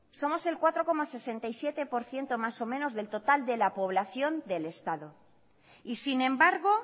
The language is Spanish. somos el cuatro coma sesenta y siete por ciento más o menos del total de la población del estado y sin embargo